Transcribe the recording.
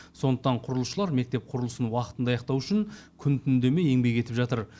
сондықтан құрылысшылар мектеп құрылысын уақытында аяқтау үшін күн түн демей еңбек етіп жатыр